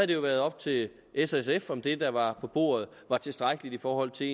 det været op til s og sf om det der var på bordet var tilstrækkeligt i forhold til